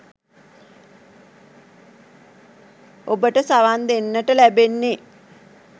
ඔබට සවන් දෙන්නට ලැබෙන්නේ